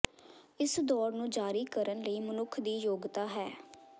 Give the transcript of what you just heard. ਇਸ ਦੌੜ ਨੂੰ ਜਾਰੀ ਕਰਨ ਲਈ ਮਨੁੱਖ ਦੀ ਯੋਗਤਾ ਹੈ